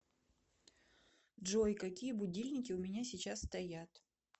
джой какие будильники у меня сейчас стоят